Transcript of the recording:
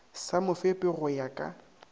sa mofepi go ya ka